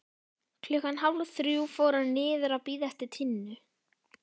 Klukkan þrjú fór hann niður að bíða eftir Tinnu.